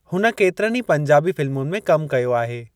हुन केतिरनि ई पंजाबी फ़िल्मुनि में कमु कयो आहे।